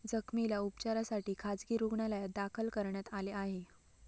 जखमीला उपचारासाठी खासगी रूग्णालयात दाखल करण्यात आले आहे.